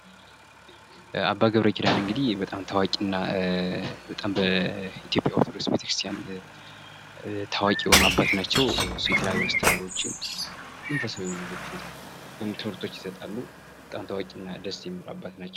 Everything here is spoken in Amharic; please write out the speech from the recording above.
አባ ገብረኪዳን እንግዲህ በጣም ታዋቂ እና በኢትዮጵያ ኦርቶዶክስ ቤተክርስትያን ታዋቂ የሆኑ አባት ናቸው። የተለያዩ አስተምሮቶችን መንፈሳዊ የሆኑ ትምህርቶች ይሰጣሉ። በጣም ታዋቂ እና ደስ የሚሉ አባት ናቸው።